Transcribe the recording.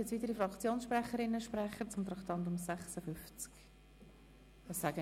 Gibt es weitere Fraktionssprecherinnen oder -sprecher zum Traktandum